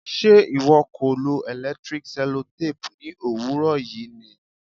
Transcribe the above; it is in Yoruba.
ṣe ìwọ kò lo electric sellotape ní òwúrọ̀ yìí ni?